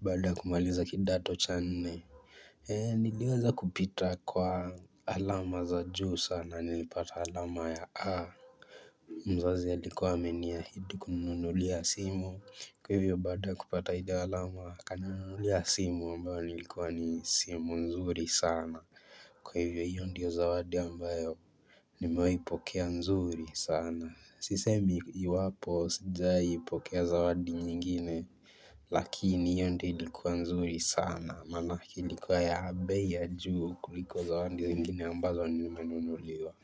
baada ya kumaliza kidato cha nne niliweza kupita kwa alama za juu sana nilipata alama ya A mzazi alikuwa ameniahidi kuninunulia simu kwa hivyo baada kupata ile alama akaninunulia simu ambayo ilikuwa ni simu nzuri sana. Kwa hivyo hiyo ndiyo zawadi ambayo nimewahi pokea nzuri sana. Sisemi iwapo sijawahi pokea zawadi nyingine lakini hiyo ndiyo ilikuwa nzuri sana. Maana ilikuwa ya bei ya juu kuliko zawadi zingine ambazo nilinunuliwa.